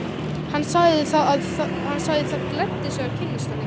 Hann sagði það gleddi sig að kynnast henni.